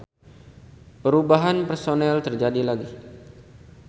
Perubahan personel terjadi lagi.